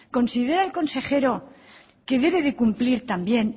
considera el consejero que debe de cumplir también